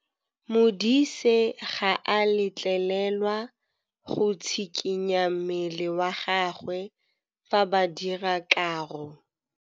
Modise ga a letlelelwa go tshikinya mmele wa gagwe fa ba dira karô.